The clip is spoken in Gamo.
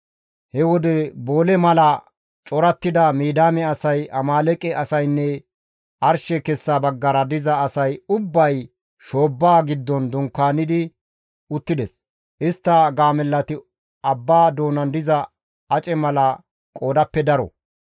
He wode boole mala corattida Midiyaame asay Amaaleeqe asaynne arshe kessa baggara diza asay ubbay shoobbaa giddon dunkaani uttides. Istta gaamellati abba doonan diza ace mala qoodappe daro.